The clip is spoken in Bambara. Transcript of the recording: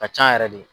Ka ca yɛrɛ de